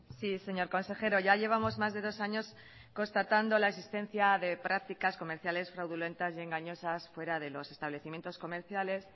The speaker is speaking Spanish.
sí señor consejero ya llevamos más de dos años constatando la existencia de prácticas comerciales fraudulentas y engañosas fuera de los establecimientos comerciales